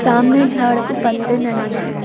सामने झाड़ को पत्ते नहीं है।